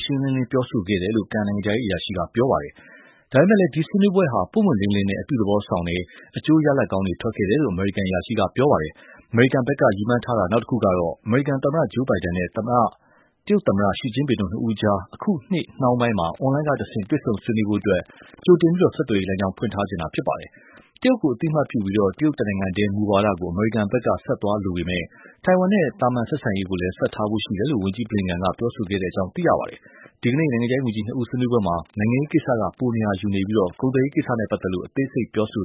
ရှင်းလင်းလင်း ပြောဆိုခဲ့တယ်လို့ ကန်နိုင်ငံခြားရေးအရာရှိက ပြောတာပါ။ ဒါပေမယ့်လည်း ဒီဆွေးနွေးပွဲဟာ ပွင့်ပွင့်လင်းလင်းနဲ့ အပြုသဘောဆောင်တယ်၊ အကျိုးရလဒ် ထွက်ခဲ့တယ်လို့ အမေရိကန် အရာရှိက ပြောပါတယ်။ အမေရိကန်ဘက်က ရည်မှန်းထားတာ တခုကတော့ အမေရိကန်သမ္မတ Joe Biden နဲ့ တရုတ်သမ္မတ Xi Jinping တို့ နှစ်ဦးအကြား အခုနှစ်နှောင်းပိုင်းမှာ အွန်လိုင်းကတဆင့် တွေ့ဆုံဆွေးနွေးနိုင်ဖို့အတွက် ကြိုတင်ပြီး ဆက်သွယ်ရေးလမ်းကြောင်း ဖွင့်ထားချင်ပါတယ်။ တရုတ်ကို အသိအမှတ်ပြုပြီး တရုတ်တနိုင်ငံတည်း မူဝါဒကို အမေရိကန်ဘက်က ဆက်သွားလိုပေမယ့် ထိုင်ဝမ်နဲ့ သာမန်ဆက်ဆံရေးကိုလည်း ဆက်ထားမယ်လို့ ဝန်ကြီး Blinken က ပြောခဲ့တယ်လို့ ဆိုပါတယ်။ ဒီနေ့ နိုင်ငံခြားရေးဝန်ကြီး ၂ ဦး ဆွေးနွေးပွဲမှာ နိုင်ငံရေးကိစ္စက ပိုနေရာယူပြီး ကုန်သွယ်ရေးကိစ္စနဲ့ ပတ်သက်လို့ အသေးစိတ်ပြောဆို